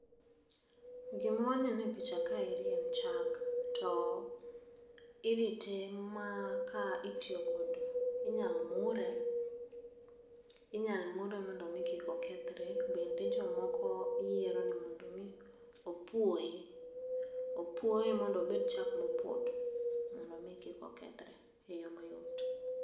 Gima waneno e picha kaeri en chak to irite ma ka itiyo kod inyal mure inyal mure mondo kik kethre. Bende jomoko yiero ni mondo mi opuoye opuoye mondo obed chak mopoto mondo mi kik okethre e yoo mayot.